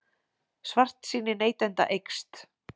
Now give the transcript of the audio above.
Svartsýni neytenda eykst